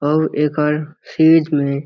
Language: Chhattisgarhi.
अउ एकर सीज में --